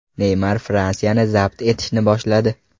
Neymar Fransiyani zabt etishni boshladi.